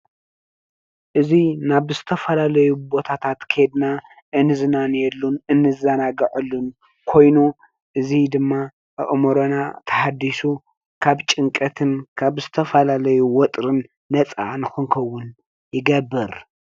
እዚ ናብ ዝተፈላለዩ ቦታታት ኬድና እንዝናነየሉን እንዘናገዓሉን ኮይኑ እዚ ድማ ኣእምሮና ተሃዲሱ ካብ ጭንቀትን ካብ ዝተፈላለዩ ወጥርን ነፃ ንኽንከውን ይገብር፡፡